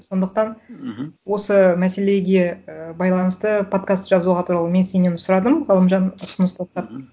сондықтан мхм осы мәселеге ы байланысты подкаст жазуға туралы мен сенен сұрадым ғалымжан ұсыныс мхм